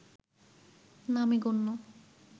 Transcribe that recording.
নামে গণ্য